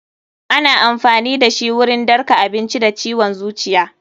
Ana amfani dashi wurin ɗarka abinci da ciwon zuciya.